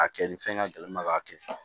A kɛ ni fɛn ka gɛlɛn ma k'a kɛ